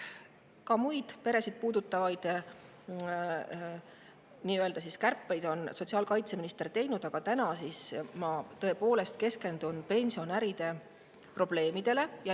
Ka muid peresid puudutavaid kärpeid on sotsiaalkaitseminister teinud, aga täna ma tõepoolest keskendun pensionäride probleemidele.